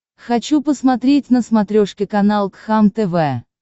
хочу посмотреть на смотрешке канал кхлм тв